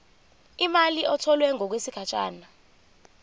imali etholwe ngokwesigatshana